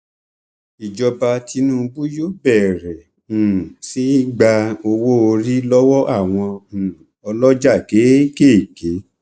ìjọba tìǹbù yóò bẹrẹ um sí í gba owóorí lọwọ àwọn um ọlọjà kéékèèké